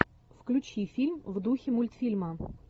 включи фильм в духе мультфильма